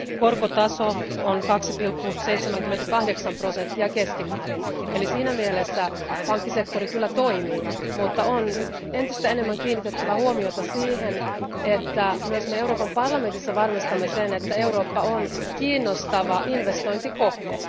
Korkotaso on 2,78 prosenttia keskimäärin, eli siinä mielessä pankkisektori kyllä toimii, mutta on nyt entistä enemmän kiinnitettävä huomiota siihen, että myös me Euroopan parlamentissa varmistamme sen, että Eurooppa on kiinnostava investointikohde.